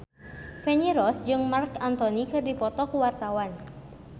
Feni Rose jeung Marc Anthony keur dipoto ku wartawan